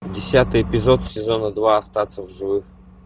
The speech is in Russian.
десятый эпизод сезона два остаться в живых